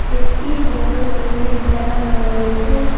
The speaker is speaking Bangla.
একটি বড় টিনের বেড়া দেওয়া রয়েছে।